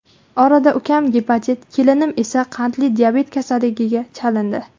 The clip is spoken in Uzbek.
Orada ukam gepatit, kelinim esa qandli diabet kasalligiga chalindi.